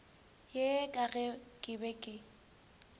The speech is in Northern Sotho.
ye ka ge ke be